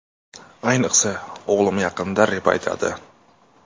Ayniqsa, o‘g‘lim yaqinda rep aytadi.